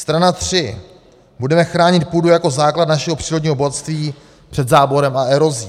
Strana tři: "Budeme chránit půdu jako základ našeho přírodního bohatství před záborem a erozí.